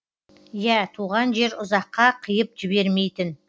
иә туған жер ұзаққа қиып жібермейтін